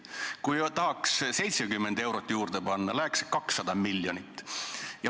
Kui tahaks 70 eurot juurde panna, läheks selleks 200 miljonit.